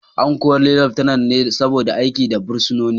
An kori Laftanar ne saboda aiki da fursunoni